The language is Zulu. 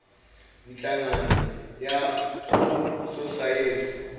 nhlagano yabososayensi bokudla